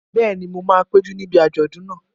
Bẹ́ẹ̀ni, mo máa péjú níbi àjọ̀dún náà